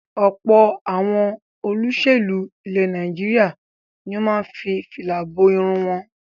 Ọ̀pọ̀ àwọn olóṣèlú ilẹ̀ Nàìjíríà ni ó máa ń fi fìlà bo irun wọn.